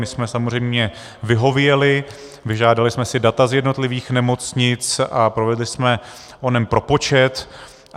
My jsme samozřejmě vyhověli, vyžádali jsme si data z jednotlivých nemocnic a provedli jsme onen propočet.